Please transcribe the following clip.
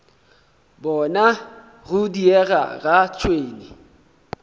bona go diega ga tšhwene